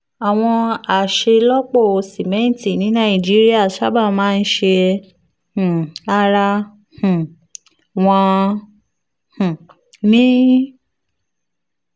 àwọn aṣelọpọ simẹnti ní nàìjíríà sábà máa ń ṣe um ara um wọn um ni